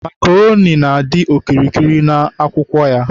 Makroni na-adị okirikiri n'akwụkwọ ya.